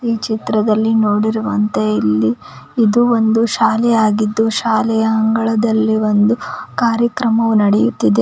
ಈ ಚಿತ್ರದಲ್ಲಿ ನೋಡಿರುವಂತೆ ಇಲ್ಲಿ ಇದು ಒಂದು ಶಾಲೆ ಆಗಿದ್ದು ಶಾಲೆಯ ಅಂಗಳದಲ್ಲಿ ಒಂದು ಕಾರ್ಯಕ್ರಮವು ನಡೆಯುತ್ತಿದೆ.